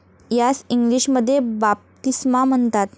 यास इंग्लिशमध्ये बाप्तिस्मा म्हणतात.